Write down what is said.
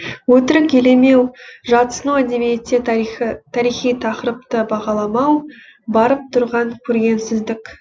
өтірік елемеу жатсыну әдебиетте тарихи тақырыпты бағаламау барып тұрған көргенсіздік